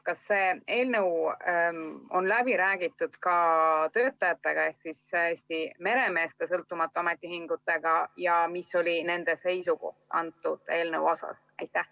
Kas see eelnõu on läbi räägitud ka töötajatega ehk Eesti Meremeeste Sõltumatu Ametiühinguga ja kui on, siis mis oli nende seisukoht?